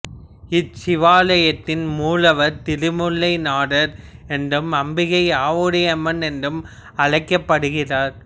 இச்சிவாலயத்தின் மூலவர் திருமூலநாதர் என்றும் அம்பிகை ஆவுடையம்மன் என்றும் அழைக்கப்படுகிறார்